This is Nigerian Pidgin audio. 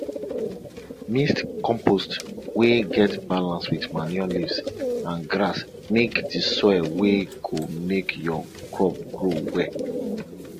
mix compost wey get balance with manure leaves and grass make di soil wey go make your crop grow well